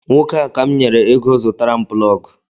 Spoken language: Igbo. Nwoke a ka m nyere ego zụtara m plọgu